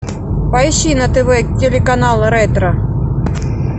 поищи на тв телеканал ретро